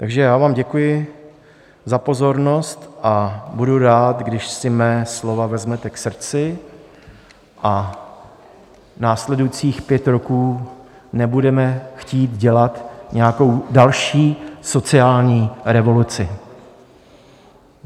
Takže já vám děkuji za pozornost a budu rád, když si moje slova vezmete k srdci a následujících pět roků nebudeme chtít dělat nějakou další sociální revoluci.